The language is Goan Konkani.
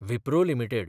विप्रो लिमिटेड